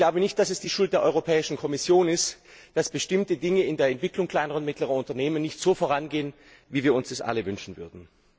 Ich glaube nicht, dass es die Schuld der Europäischen Kommission ist, dass bestimmte Dinge in der Entwicklung kleiner und mittlerer Unternehmen nicht so vorangehen, wie wir uns das alle wünschen würden.